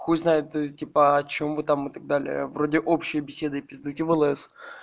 хуй знает типа о чём вы там и так далее вроде общей беседы пиздуйте в лс